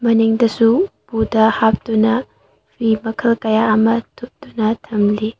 ꯃꯅꯤꯡꯗꯁꯨ ꯎꯄꯨꯗ ꯍꯞꯇꯨꯅ ꯐꯤ ꯃꯈꯜ ꯀꯌꯥ ꯑꯃ ꯊꯨꯞꯇꯨꯅ ꯊꯝꯂꯤ꯫